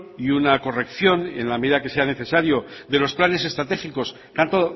y una corrección en la medida que sea necesario de los planes estratégicos tanto